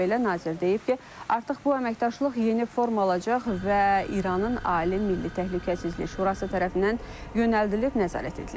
Bununla belə, nazir deyib ki, artıq bu əməkdaşlıq yeni forma alacaq və İranın Ali Milli Təhlükəsizlik Şurası tərəfindən yönəldilib nəzarət ediləcək.